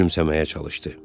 gülümsəməyə çalışdı.